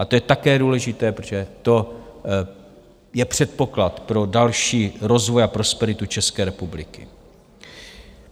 A to je také důležité, protože to je předpoklad pro další rozvoj a prosperitu České republiky.